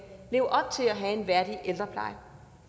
leve op til at have en værdig ældrepleje